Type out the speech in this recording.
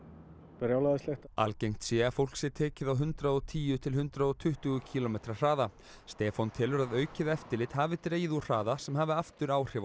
brjálæðislegt algengt sé að fólk sé tekið á hundrað og tíu til hundrað og tuttugu kílómetra hraða Stefán telur að aukið eftirlit hafi dregið úr hraða sem hafi aftur áhrif